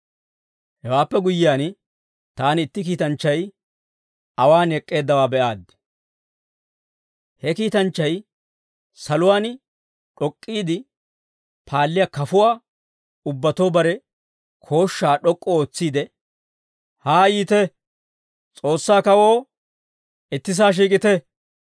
Hewaappe guyyiyaan, taani itti kiitanchchay awaan ek'k'eeddawaa be'aaddi. He kiitanchchay saluwaan d'ok'k'iide paalliyaa kafuwaa ubbatoo bare kooshshaa d'ok'k'u ootsiide, «Haa yiite. S'oossaa kawoo ittisaa shiik'ite.